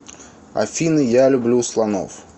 афина я люблю слонов